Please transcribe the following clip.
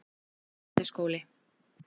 Gamli skóli